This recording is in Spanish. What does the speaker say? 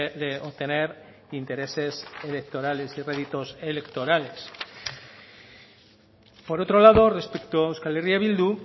de obtener intereses electorales y réditos electorales por otro lado respecto a euskal herria bildu